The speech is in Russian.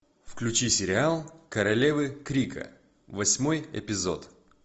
включи сериал королевы крика восьмой эпизод